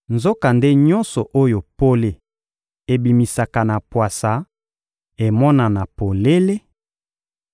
Nzokande nyonso oyo pole ebimisaka na pwasa emonana polele,